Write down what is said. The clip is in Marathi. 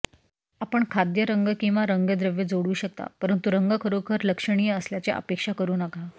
आपण खाद्य रंग किंवा रंगद्रव्य जोडू शकता परंतु रंग खरोखर लक्षणीय असल्याचे अपेक्षा करू नका